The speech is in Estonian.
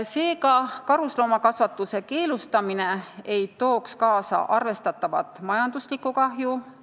Seega, karusloomakasvatuse keelustamine ei tooks kaasa arvestatavat majanduslikku kahju.